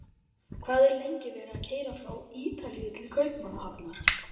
Hvað er lengi verið að keyra frá Ítalíu til Kaupmannahafnar?